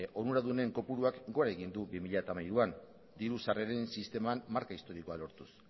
onuradunen kopuruak gora egin du bi mila hamairuan diru sarreren sisteman marka historikoa lortuz